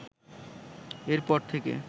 এর পর থেকে